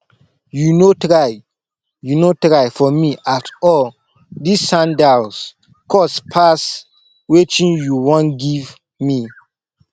you no try you no try for me at all dis sandals cost past wetin you wan give me